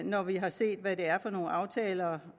når vi har set hvad det er for nogle aftaler